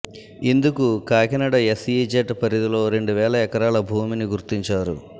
ఇందుకు కాకినాడ ఎస్ఇజడ్ పరిధిలో రెండు వేల ఎకరాల భూమిని గుర్తించారు